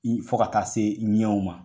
Ni fɔ ka taa se ɲɛw ma.